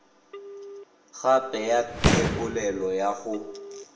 gape ya thebolelo ya go